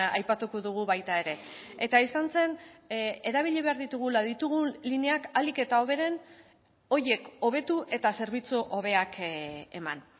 aipatuko dugu baita ere eta izan zen erabili behar ditugula ditugun lineak ahalik eta hoberen horiek hobetu eta zerbitzu hobeak eman